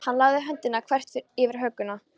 Hann lagði höndina þvert yfir hökuna.